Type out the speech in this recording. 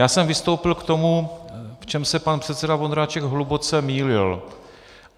Já jsem vystoupil k tomu, v čem se pan předseda Vondráček hluboce mýlil.